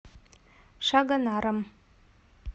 шагонаром